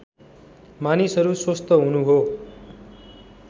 मानिसहरू स्वस्थ हुनु हो